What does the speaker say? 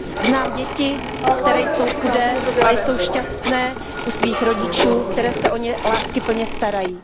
Znám děti, které jsou chudé, ale jsou šťastné u svých rodičů, kteří se o ně láskyplně starají.